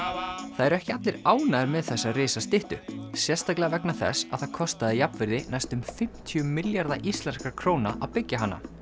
það eru ekki allir ánægðir með þessa risastyttu sérstaklega vegna þess að það kostaði jafnvirði næstum fimmtíu milljarða íslenskra króna að byggja hana